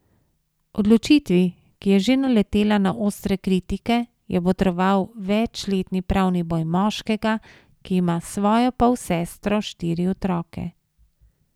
Odločitvi, ki je že naletela na ostre kritike, je botroval večletni pravni boj moškega, ki ima s svojo polsestro štiri otroke.